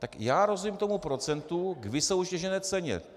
Tak já rozumím tomu procentu k vysoutěžené ceně.